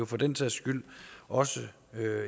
for den sags skyld også